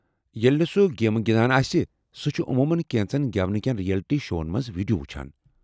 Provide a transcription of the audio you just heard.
ییٚلہ نہٕ سہ گیمہٕ گنٛدان آسہِ، سُہ چُھ عموٗمن كینژن گیونہٕ كین رِیلٹی شوَن منٛز ویڈیو وُچھان ۔